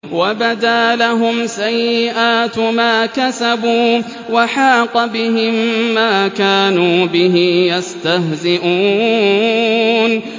وَبَدَا لَهُمْ سَيِّئَاتُ مَا كَسَبُوا وَحَاقَ بِهِم مَّا كَانُوا بِهِ يَسْتَهْزِئُونَ